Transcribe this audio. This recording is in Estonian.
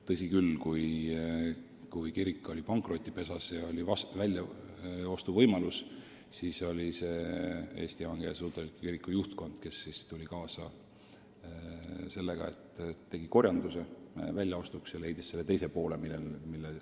Tõsi küll, kui kirik oli pankrotipesas ja oli selle väljaostu võimalus, siis tuli Eesti Evangeelse Luterliku Kiriku juhtkond mõttega kaasa, tegi korjanduse hoone väljaostuks ja leidis teise poole vajalikust summast.